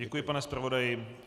Děkuji, pane zpravodaji.